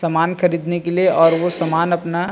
सामान खरीदने के लिए और वो सामान अपना --